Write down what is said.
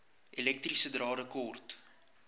elektriese drade kort